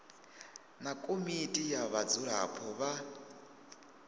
na komiti ya vhadzulapo vha